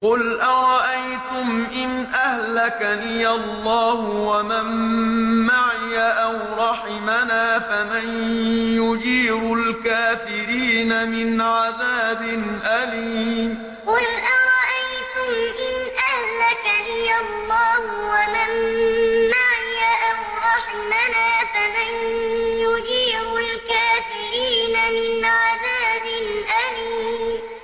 قُلْ أَرَأَيْتُمْ إِنْ أَهْلَكَنِيَ اللَّهُ وَمَن مَّعِيَ أَوْ رَحِمَنَا فَمَن يُجِيرُ الْكَافِرِينَ مِنْ عَذَابٍ أَلِيمٍ قُلْ أَرَأَيْتُمْ إِنْ أَهْلَكَنِيَ اللَّهُ وَمَن مَّعِيَ أَوْ رَحِمَنَا فَمَن يُجِيرُ الْكَافِرِينَ مِنْ عَذَابٍ أَلِيمٍ